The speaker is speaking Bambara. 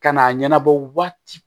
Ka n'a ɲɛnabɔ waati